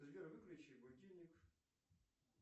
сбер выключи будильник